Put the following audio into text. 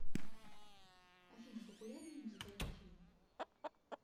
афина популярные музыкальные фильмы